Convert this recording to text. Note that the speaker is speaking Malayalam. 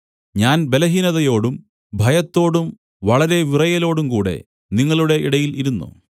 ഞാൻ ബലഹീനതയോടും ഭയത്തോടും വളരെ വിറയലോടുംകൂടെ നിങ്ങളുടെ ഇടയിൽ ഇരുന്നു